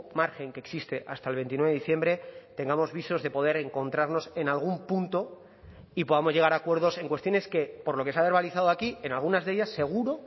margen que existe hasta el veintinueve de diciembre tengamos visos de poder encontrarnos en algún punto y podamos llegar a acuerdos en cuestiones que por lo que se ha verbalizado aquí en algunas de ellas seguro